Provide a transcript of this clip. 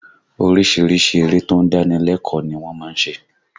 Orísìírísìí eré tó ń dáni lẹ́kọ̀ọ́ ni wọ́n má ń ṣe